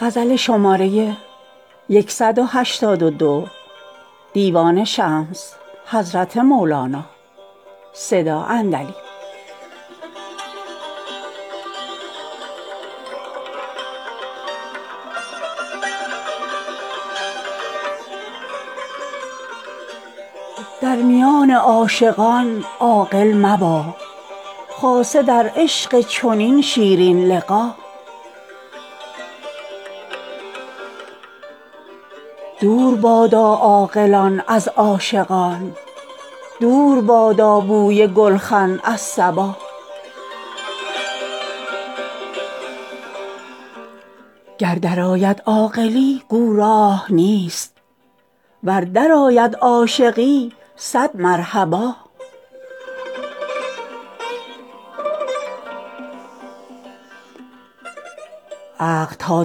در میان عاشقان عاقل مبا خاصه در عشق چنین شیرین لقا دور بادا عاقلان از عاشقان دور بادا بوی گلخن از صبا گر درآید عاقلی گو راه نیست ور درآید عاشقی صد مرحبا عقل تا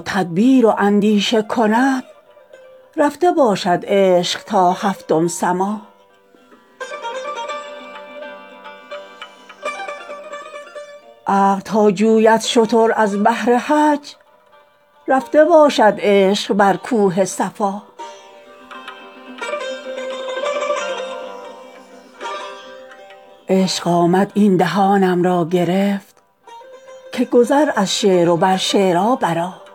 تدبیر و اندیشه کند رفته باشد عشق تا هفتم سما عقل تا جوید شتر از بهر حج رفته باشد عشق بر کوه صفا عشق آمد این دهانم را گرفت که گذر از شعر و بر شعرا برآ